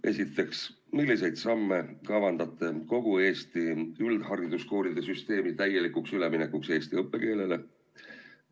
Esiteks, milliseid samme kavandate kogu Eesti üldhariduskoolide süsteemi täielikuks üleminekuks eesti õppekeelele?